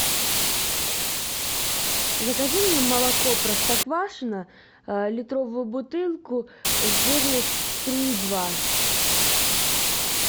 закажи мне молоко простоквашино литровую бутылку жирность три и два